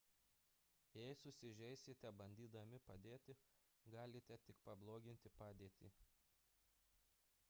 jei susižeisite bandydami padėti galite tik pabloginti padėtį